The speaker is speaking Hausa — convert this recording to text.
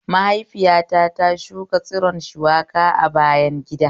Maihaifiyata ta shuka tsiron shuwaka a bayan gida